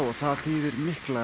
það þýðir mikil